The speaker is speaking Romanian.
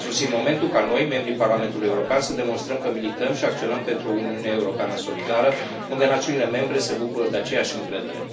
A sosit momentul ca noi, membrii Parlamentului European, să demonstrăm că milităm și acționăm pentru o Uniune Europeană solidară, unde națiunile membre se bucură de aceeași încredere.